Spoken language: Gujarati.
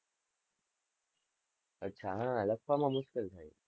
અચ્છા, હા લખવા માં મુશ્કેલ થાય છે.